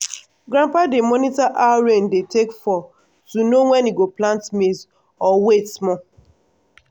grandpa dey monitor how rain dey take fall to know when e go plant maize or wait small.